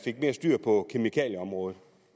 fik mere styr på kemikalieområdet